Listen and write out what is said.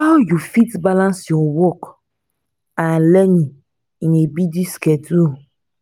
how you fit balance your work and learning in a busy schedule?